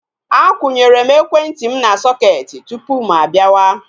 Akwunyere m ekwentị m na sọketi tupu mụ-abiawa